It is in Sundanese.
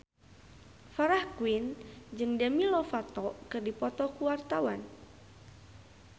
Farah Quinn jeung Demi Lovato keur dipoto ku wartawan